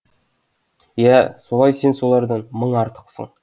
иә солай сен солардан мың артықсың